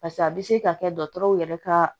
Pase a bɛ se ka kɛ dɔgɔtɔrɔw yɛrɛ ka